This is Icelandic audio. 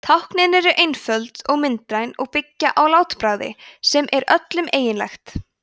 táknin eru einföld og myndræn og byggja á látbragði sem er öllum eiginlegt